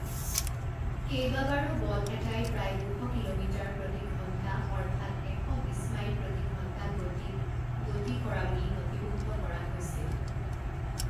কেইবাবাৰো বল এটাই প্ৰায় দুশ কিলোমিটাৰ প্ৰতি ঘণ্টা অৰ্থাৎ এশ বিছ মাইল প্ৰতি ঘণ্টা গতিত গতি কৰা বুলি নথিভুক্ত কৰা হৈছিল।